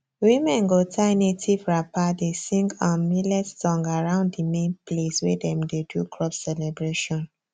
women go tie native wrapper dey sing um millet song around the main place wey dem dey do crop celebration